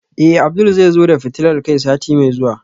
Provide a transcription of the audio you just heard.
Eh Abdul zai zo da fitilar kai sati mai zuwa